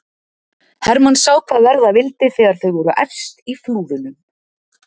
Hermann sá hvað verða vildi þegar þau voru efst í flúðunum.